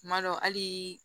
Tuma dɔ hali